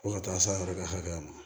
Fo ka taa se a yɛrɛ ka hakɛ ma